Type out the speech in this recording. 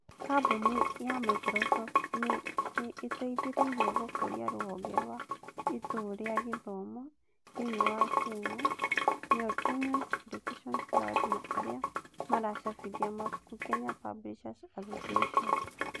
Kabuni ya Microsoft nĩ ĩteithĩrĩirie gũkũria ruhonge rwa Ituu rĩa Gĩthomo thĩinĩ wa Kenya (Kenya's Education Cloud) na arĩa maracabithia mabuku (Kenya Publishers Association+